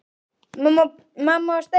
Já, spyrðu pabba þinn!